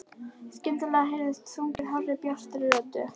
Skyndilega heyrist sungið hárri, bjartri röddu.